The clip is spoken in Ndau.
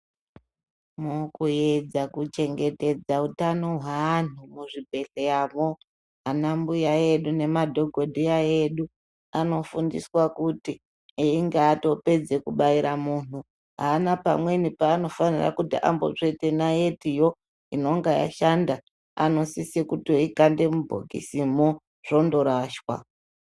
Mukuedza kuchengetedza utano hweantu muzvibhedhleramwo anambuya edu nemadhokodheya edu anofundiswa kuti einge atopedze kubaira muntu aana pamweni paanotombofanira kutsveta naitiyo inonga yashanda anosise kundoikande mubhokisimwo zvondoraswa.